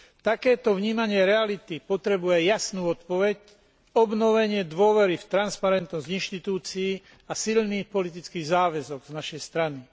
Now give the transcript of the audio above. Takéto vnímanie reality potrebuje jasnú odpoveď, obnovenie dôvery v transparentnosť inštitúcií a silný politický záväzok z našej strany.